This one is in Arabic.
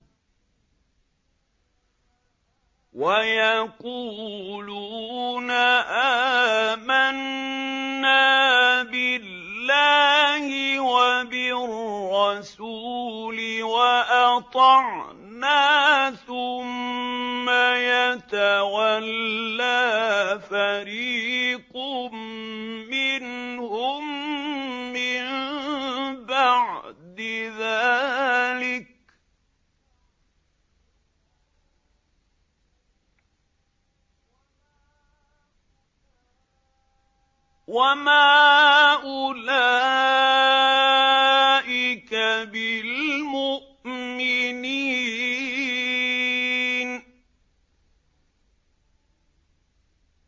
وَيَقُولُونَ آمَنَّا بِاللَّهِ وَبِالرَّسُولِ وَأَطَعْنَا ثُمَّ يَتَوَلَّىٰ فَرِيقٌ مِّنْهُم مِّن بَعْدِ ذَٰلِكَ ۚ وَمَا أُولَٰئِكَ بِالْمُؤْمِنِينَ